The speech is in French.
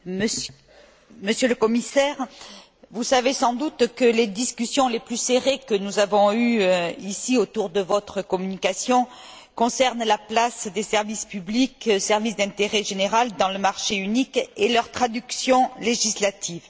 Monsieur le Président, Monsieur le Commissaire, vous savez sans doute que les discussions les plus serrées que nous avons eues, ici, autour de votre communication concernent la place des services publics, services d'intérêt général dans le marché unique et leur traduction législative.